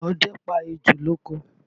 Ọdẹ pa ejò lóko